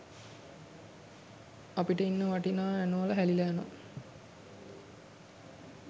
අපිට ඉන්න වටිනා ඇනෝලා හැලිලා යනවා